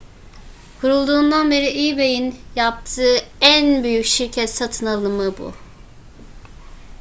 kurulduğundan beri ebay'in yaptığı en büyük şirket satın alımı bu